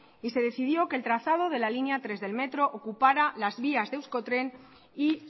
y se decidió que el trazado de la línea tres del metro ocupará las vías de euskotren y